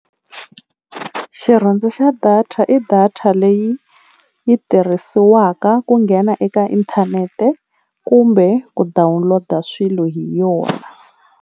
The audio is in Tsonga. Xirhundzu xa data i data leyi yi tirhisiwaka ku nghena eka inthanete kumbe ku download-a swilo hi yona.